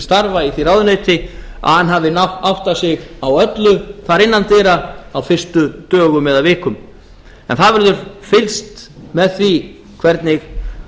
starfa í því ráðuneyti að hann hafi áttað sig á öllu innan dyra á fyrstu dögum eða vikum en það hefur fylgst með því hvernig